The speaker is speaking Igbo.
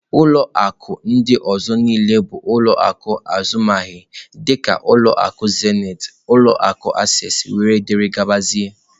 Ulọ akụ ndị ọzọ niile bụ ụlọ akụ azụmaahịa dịka ulọ akụ Zenith, ụlọ akụ Access wdg.